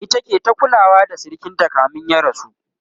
ita ke ta kulawa da sirikinta kamin ya rasu